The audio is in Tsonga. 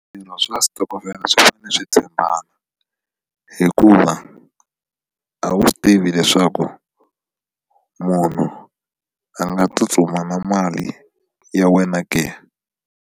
Swirho swa switokofela swi fanele swi tshembana hikuva a wu swi tivi leswaku munhu a nga tsutsuma na mali ya wena ke.